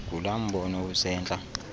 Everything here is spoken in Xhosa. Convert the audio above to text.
ngulaa mbono usentla